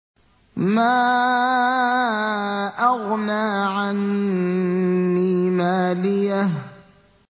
مَا أَغْنَىٰ عَنِّي مَالِيَهْ ۜ